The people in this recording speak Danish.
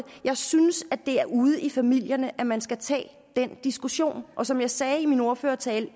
jeg synes at det er ude i familierne man skal tage den diskussion og som jeg sagde i min ordførertale